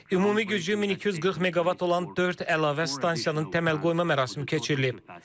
Ümumi gücü 1240 meqavat olan dörd əlavə stansiyanın təməl qoyma mərasimi keçirilib.